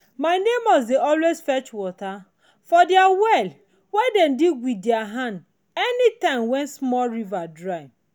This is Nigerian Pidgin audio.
my neighbour dey always fetch water for dia well wen dem dig with dia hand anytime wen dia small river dry.